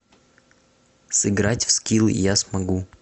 сыграть в скилл я смогу